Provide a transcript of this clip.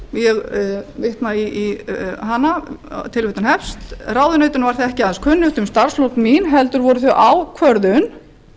ég vitna í hana tilvitnun hefst ráðuneytinu var því ekki aðeins kunnugt um starfslok mín heldur voru þau ákvörðun ráðherrans og